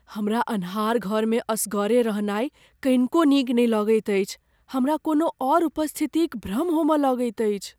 हमरा अन्हार घरमे असगरे रहनाइ कनिको नीक नहि लगैत अछि, हमरा कोनो औऱ उपस्थितिक भ्रम होमय लगैत अछि।